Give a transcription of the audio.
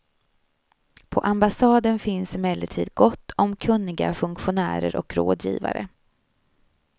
På ambassaden finns emellertid gott om kunniga funktionärer och rådgivare.